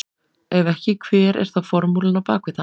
Ef ekki hver er þá formúlan á bak við það?